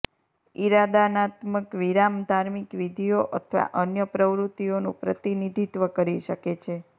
ઈરાદાનાત્મક વિરામ ધાર્મિક વિધિઓ અથવા અન્ય પ્રવૃત્તિઓનું પ્રતિનિધિત્વ કરી શકે છે